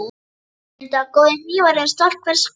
Mundu að góðir hnífar eru stolt hvers kokks.